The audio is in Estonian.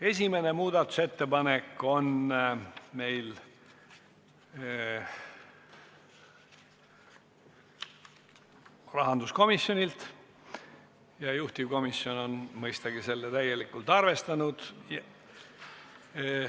Esimene muudatusettepanek on meil rahanduskomisjonilt ja juhtivkomisjon on seda mõistagi täielikult arvestanud.